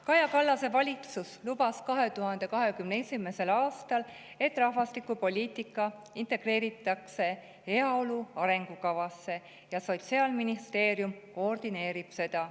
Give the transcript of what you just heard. Kaja Kallase valitsus lubas 2021. aastal, et rahvastikupoliitika integreeritakse heaolu arengukavasse, ja Sotsiaalministeerium koordineerib seda.